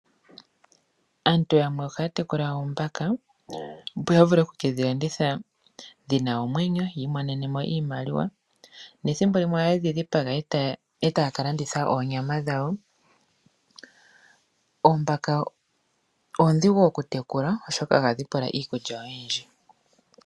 Aantu yamwe ohaya tekula oombaka opo yavule oku kedhilanditha dhina omwenyo yi imonenemo iimaliwa nethimbo limwe ohaye dhidhipaga etaya ka landitha oonyama dhawo . Oombaka oondhigu oku tekula oshoka ohadhi pula iikulya oyindji.